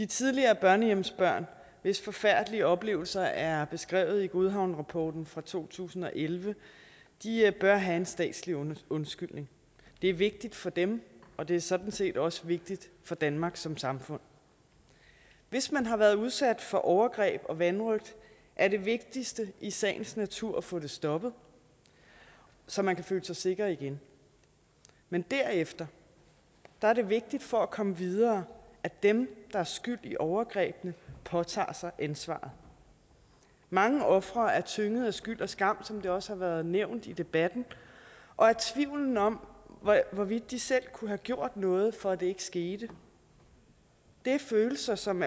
tidligere børnehjemsbørn hvis forfærdelige oplevelser er beskrevet i godhavnsrapporten fra to tusind og elleve bør have en statslig undskyldning det er vigtigt for dem og det er sådan set også vigtigt for danmark som samfund hvis man har været udsat for overgreb og vanrøgt er det vigtigste i sagens natur at få det stoppet så man kan føle sig sikker igen men derefter er det vigtigt for at komme videre at dem der er skyld i overgrebene påtager sig ansvaret mange ofre er tynget af skyld og skam som det også været nævnt i debatten og af tvivlen om hvorvidt de selv kunne have gjort noget for at det ikke skete det er følelser som